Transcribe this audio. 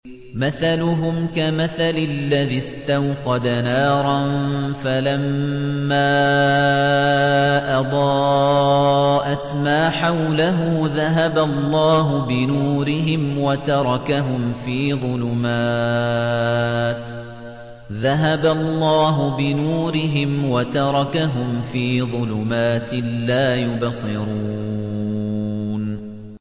مَثَلُهُمْ كَمَثَلِ الَّذِي اسْتَوْقَدَ نَارًا فَلَمَّا أَضَاءَتْ مَا حَوْلَهُ ذَهَبَ اللَّهُ بِنُورِهِمْ وَتَرَكَهُمْ فِي ظُلُمَاتٍ لَّا يُبْصِرُونَ